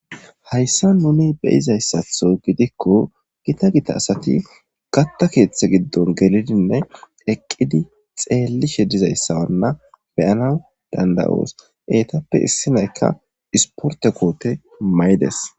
Hayssan nuun beyizayssatho gidikko gita gita asati kaththa keththa giddon gelidinne eqidi xellishe dizayssa beyanawu dandayos ettappe issinaykka isportte kootte mayides